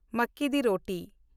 ᱢᱟᱠᱠᱤ di ᱨᱳᱴᱤ